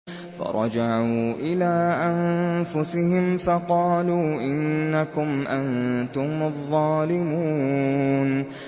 فَرَجَعُوا إِلَىٰ أَنفُسِهِمْ فَقَالُوا إِنَّكُمْ أَنتُمُ الظَّالِمُونَ